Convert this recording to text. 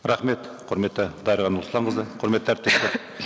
рахмет құрметті дариға нұрсұлтанқызы құрметті әріптестер